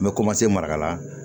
N bɛ maraka la